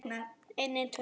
Hvað gerist í haust?